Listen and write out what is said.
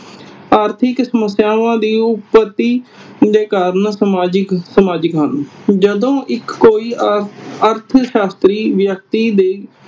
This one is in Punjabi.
ਆਰਥਿਕ ਸਮੱਸਿਆਵਾਂ ਦੀ ਦੇ ਕਾਰਨ ਸਮਾਜਿਕ ਹਨ। ਜਦੋਂ ਇਕ ਕੋਈ ਅਰਥ ਸ਼ਾਸਤਰੀ ਵਿਅਕਤੀ ਦੇ